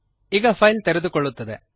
ಈಗ ಫೈಲ್ ತೆರೆದುಕೊಳ್ಳುತ್ತದೆ